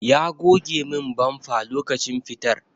Ya goge min bamfa lokacin fitar sa.